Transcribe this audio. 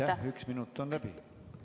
Aitäh, üks minut on läbi!